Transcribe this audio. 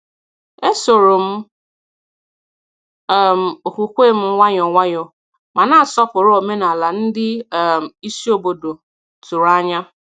E soro m um okwukwe m nwayọ nwayọ, ma na-asọpụrụ omenala ndị um isi obodo tụrụ anya.